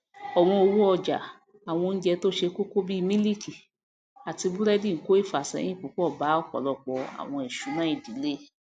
ọwọn owó ọjà àwọn oúnjẹ tó ṣe kókó bí mílíìkì àti búrẹdì ńko ìfàsẹyìn púpọ bá ọpọlọpọ àwọn ìṣúná ìdílé